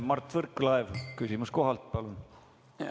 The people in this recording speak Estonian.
Mart Võrklaev, küsimus kohalt, palun!